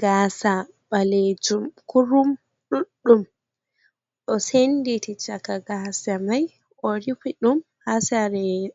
Gaasa ɓalejum kurum ɗuɗɗum o'senditi caka gasa mai, orifiti ɗum